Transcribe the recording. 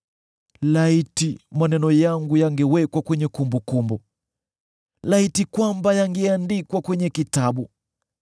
“Laiti maneno yangu yangewekwa kwenye kumbukumbu, laiti kwamba yangeandikwa kwenye kitabu,